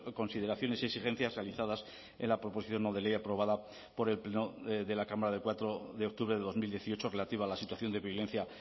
consideraciones y exigencias realizadas en la proposición no de ley aprobada por el pleno de la cámara de cuatro de octubre de dos mil dieciocho relativa a la situación de violencia